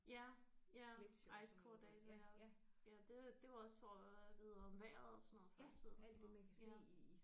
Ja ja ice core data ja ja det det var også for at vide om vejret og sådan noget før i tiden og sådan noget ja